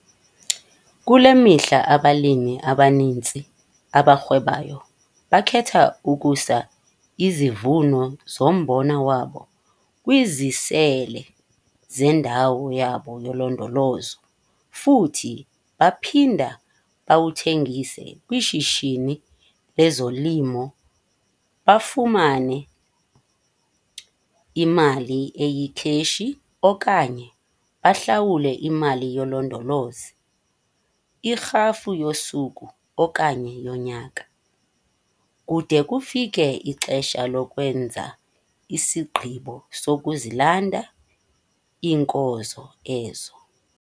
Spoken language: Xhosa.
Kule mihla abalimi abaninzi abarhwebayo bakhetha ukusa izivuno zombona wabo kwizisele zendawo yabo yolondolozo futhi baphinda bawuthengise kwishishini lezolimo bafumane imali eyikheshi okanye bahlawule imali yolondolozo, irhafu yosuku okanye yonyaka, kude kufike ixesha lokwenza isigqibo sokuzilanda iinkozo ezo.